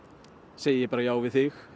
segi ég bara já við þig